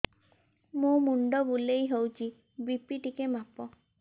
ମୋ ମୁଣ୍ଡ ବୁଲେଇ ହଉଚି ବି.ପି ଟିକେ ମାପ